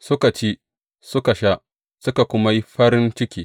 Suka ci, suka sha, suka kuma yi farin ciki.